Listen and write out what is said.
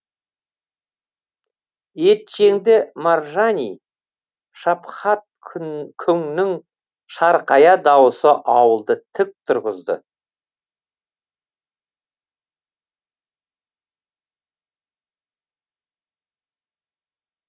етжеңді маржани шапхат күңнің шарқая дауысы ауылды тік тұрғызды